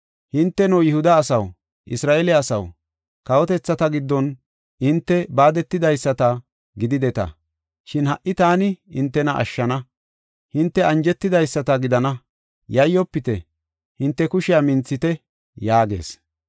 Hinteno, Yihuda asaw, Isra7eele asaw, kawotethata giddon hinte baadetidaysata gidideta, shin ha77i taani hintena ashshana; hinte anjetidaysata gidana. Yayyofite! hinte kushiya minthite!” yaagees.